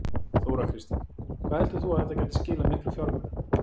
Þóra Kristín: Hvað heldur þú að þetta gæti skilað miklu fjármunum?